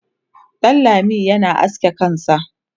Danlami yana aske kansa